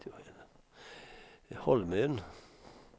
Holmön